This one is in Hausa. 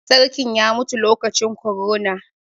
Sarkin ya mutu lokacin korona.